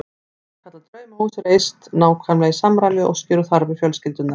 Sannkallað draumahús reist nákvæmlega í samræmi við óskir og þarfir fjölskyldunnar.